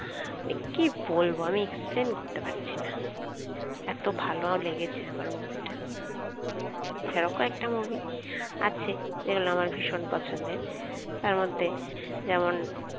এ কি বলবো মানে explain করতে পারছিনা এত ভালো লেগেছে আমার movie টা আরো কয়েকটা movie আছে যেগুলো আমার ভীষণ পছন্দের । তার মধ্যে যেমন